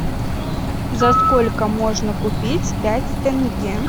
за сколько можно купить пять тенге